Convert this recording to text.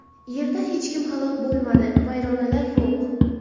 Yerda hech kim halok bo‘lmadi, vayronalar yo‘q.